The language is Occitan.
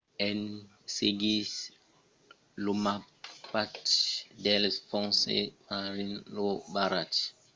en seguissent lo mapatge dels fonses marins lo varatge foguèt trobat en utilizar un rov